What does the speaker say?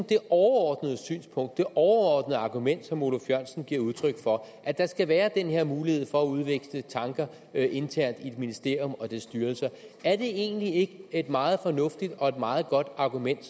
det overordnede synspunkt og det overordnede argument som oluf jørgensen giver udtryk for at der skal være den her mulighed for at udveksle tanker internt i et ministerium og dets styrelser er det egentlig ikke et meget fornuftigt og meget godt argument